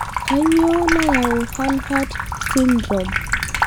Kanyio nayau Hanhart syndrome?